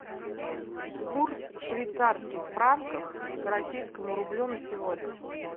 курс швейцарских франков к российскому рублю на сегодня